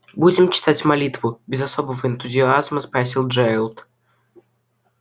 будем читать молитву без особого энтузиазма спросил джералд